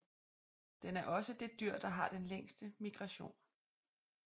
Den er også det dyr der har den længste migration